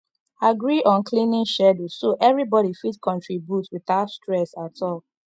agree on cleaning schedule so everybody fit contribute without stress at all